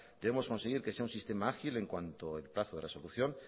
debemos conseguir que sea un sistema ágil en cuanto el plazo de resolución